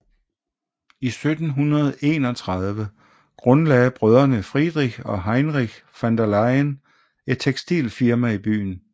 I 1731 grundlagde brødrene Friedrich og Heinrich von der Leyen et tekstilfirma i byen